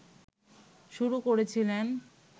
শুরু করেছিলেন